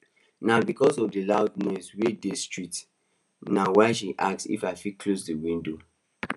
na because of the loud noise wey dey the street na why she ask if we fit close the window